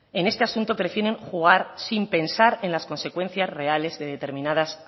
en este asunto prefieren jugar sin pensar en las consecuencias reales de determinadas